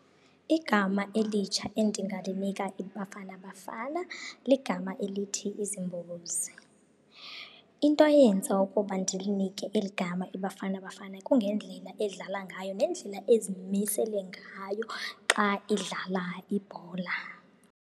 Igama elitsha endingalinika iBafana Bafana ligama elithi . Into eyenza ukuba ndilinike eli gama iBafana Bafana kungendlela edlala ngayo nendlela ezimisele ngayo xa idlala ibhola.